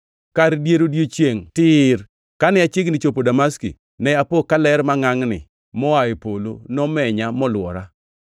“Kar dier odiechiengʼ tir kane achiegni chopo Damaski, ne apo ka ler mangʼangʼni moa e polo nomenya molwora.